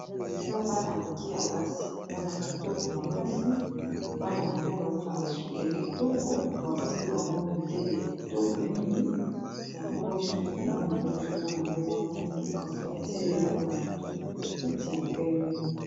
eza bana mike ya basi bana kitoko makasi bana yango baza na basuki ya kitoko basali bango midele ya kitoko mingi yango suki yamwana oyo ezomona yango eza mwindu kasi batie eleko na motu neti ya pembe